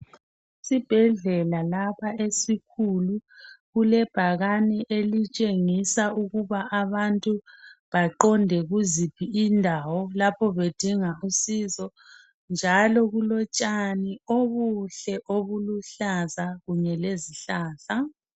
Esibhedlela lapha esikhulu , kulebhakane elitshengisa ukuba abantu baqonde kuziphi indawo lapho bedinga usizo .Njalo kulotshani obuluhlaza kunye lezihlahla.